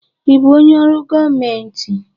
Ị bụ onye ọrụ gọọmentị?